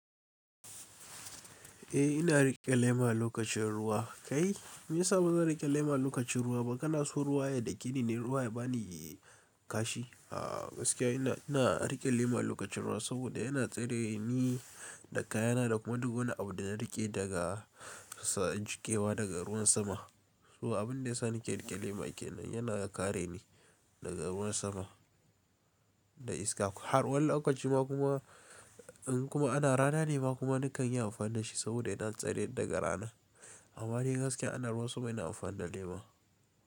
Eh ina riƙe lema lokacin ruwa kai. Me ya sa bazan riƙe lema lokacin ruwa ba? Kana so ruwa ya dakeni ne, ruwa ya bani kashi. Gaskiya ina, ina riƙe lema lokacin ruwa saboda yana tsare ni da kayana da kuma duk wani abu da na riƙe daga jikewa daga ruwan sama. So abin da ya sa nake riƙe lema kenan yana kare ni daga ruwan sama da iska. Har wani lokaci ma kuma, in kuma ana rana ne ma kuma nakan yi amfani da shi saboda yana tsare daga rana. Amma ni gaskiya ana ruwa sama ina amfani da lema.